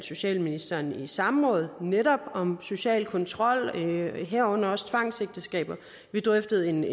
socialministeren i samråd netop om social kontrol herunder også tvangsægteskaber vi drøftede en